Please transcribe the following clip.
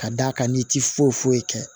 Ka d'a kan n'i ti foyi foyi kɛ